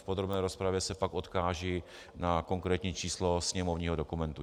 V podrobné rozpravě se pak odkážu na konkrétní číslo sněmovního dokumentu.